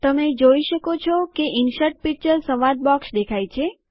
તમે જુઓ કે ઇન્સર્ટ પિક્ચર સંવાદ બોક્સ દેખાય છે